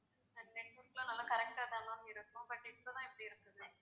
network லாம் நல்லா correct ஆ தான் ma'am இருக்கும் but இப்போதான் இப்படி இருக்குது.